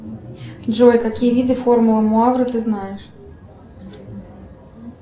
джой какие виды формулы муавры ты знаешь